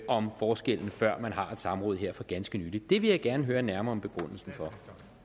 om forskellen før man har et samråd her for ganske nylig det vil jeg gerne høre nærmere om begrundelsen for